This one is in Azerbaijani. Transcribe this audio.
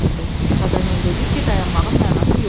Paqanel dedi ki, dayanmağın mənası yoxdur.